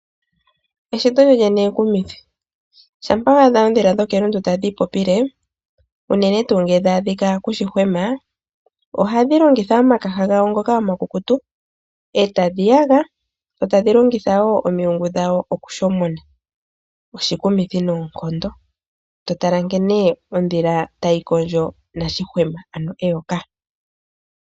Eshito lyolyene ekumithi. Shampa wa adha oondhila dhokelundu tadhi ipopile unene tuu ngele dha adhika kushihwema ohadhi longitha omakaha gawo ngoka omakukutu etadhi yaga dho tadhi longitha woo omilungu dhawo okushomona, oshikumuthi noonkondo totala nkene ondhila tayi kondjo nashihwema ano eyoka.